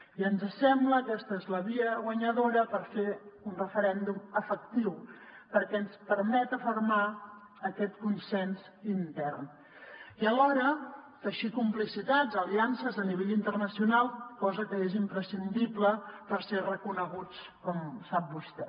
i ens sembla que aquesta és la via guanyadora per fer un referèndum efectiu perquè ens permet afermar aquest consens intern i alhora teixir complicitats aliances a nivell interna cional cosa que és imprescindible per ser reconeguts com sap vostè